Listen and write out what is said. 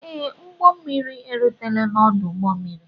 Ee, m ụgbọ mmiri erutela n'ọdụ ụgbọ mmiri